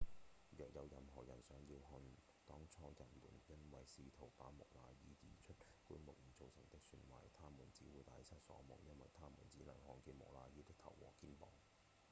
若有任何人想要看當初人們因為試圖把木乃伊移出棺木而造成的損壞他們只會大失所望因為他們只能看見木乃伊的頭和肩膀